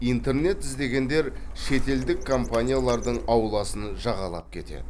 интернет іздегендер шетелдік компаниялардың ауласын жағалап кетеді